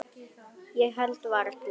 Ég held varla.